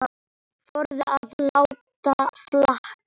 Þorði að láta allt flakka.